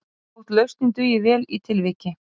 Og þótt lausnin dugir vel í tilviki